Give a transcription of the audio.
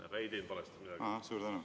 Aga te ei teinud midagi valesti.